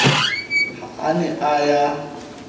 ha a ne a ya